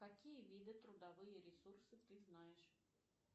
какие виды трудовые ресурсы ты знаешь